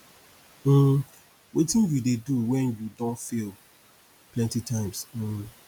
um wetin you dey do when you don fail plenty times um